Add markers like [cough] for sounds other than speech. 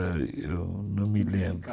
[unintelligible] eu não me lembro